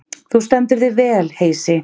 Þú stendur þig vel, Heisi!